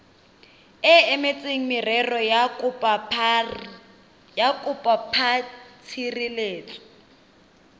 e emetseng merero ya bokopatshireletso